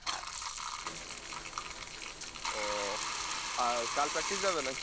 ও আর কাল practice যাবে না কি?